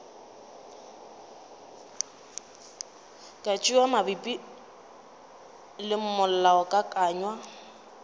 ka tšewa mabapi le molaokakanywa